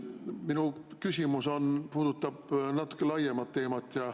Minu küsimus puudutab natuke laiemat teemat.